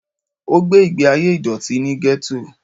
O gbé ìgbé ayé ìdọ̀tí ní Gétò